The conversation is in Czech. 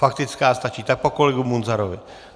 Faktická stačí, tak po kolegovi Munzarovi.